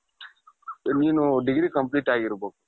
ನೀನು degree complete ಆಗಿರಬೇಕು.